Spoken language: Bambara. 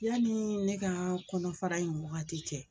Yanni ne ka kɔnɔfara in wagati cɛ